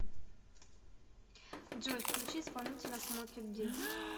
джой включи исполнителя смоки ди